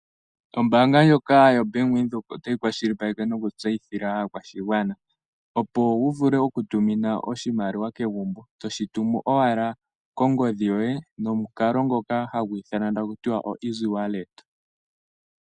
Ombaanga ndjoka yo Bank Windhoek otayi kwashilipaleke noku tseyithila aakwashigwana opo wuvule oku tumina oshimaliwa kegumbo toshituma owala kongodhi yoye nomukalo ngoka hagu ithanwa takutiwa o Easywallet.